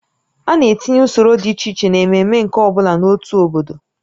A na-etinye usoro dị iche iche n'ememe nke ọ bụla n'otu obodo